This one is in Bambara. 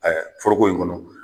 Ɛɛ foroko in kɔnɔ